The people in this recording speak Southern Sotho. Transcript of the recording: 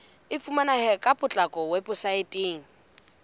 e fumaneha ka potlako weposaeteng